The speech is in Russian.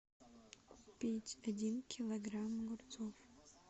купить один килограмм огурцов